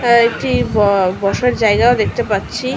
এ- একটি ব বসার জায়গাও দেখতে পাচ্ছি।